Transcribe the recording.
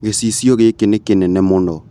Gĩcicio gĩkĩ nĩ kĩnene mũno